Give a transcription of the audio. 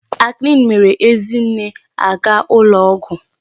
Acne mere Ezinne aga ụlọ ọgwụ.